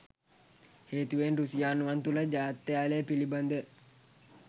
හේතුවෙන් රුසියානුවන් තුල ජාත්‍යාලය පිලිබඳ